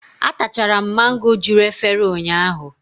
Atachara m mango juru efere ụnyaahụ.